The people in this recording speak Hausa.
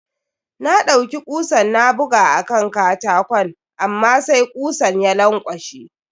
Na ɗaiuki kusan na buga a kan katakon amma sai kusan ya lankwashe.